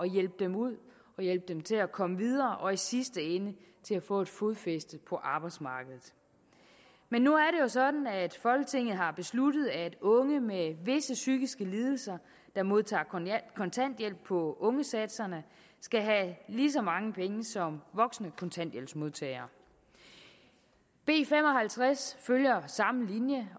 hjælpe dem ud og hjælpe dem til at komme videre og i sidste ende til at få fodfæste på arbejdsmarkedet men nu er sådan at folketinget har besluttet at unge med visse psykiske lidelser der modtager kontanthjælp på ungesatserne skal have lige så mange penge som voksne kontanthjælpsmodtagere b fem og halvtreds følger samme linje